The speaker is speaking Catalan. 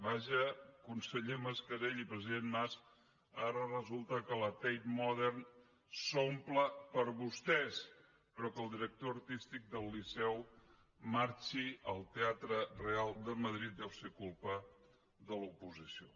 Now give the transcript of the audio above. vaja conseller mascarell i president mas ara resulta que la tate modern s’omple per vostès però que el director artístic del liceu marxi al teatre real de madrid deu ser culpa de l’oposició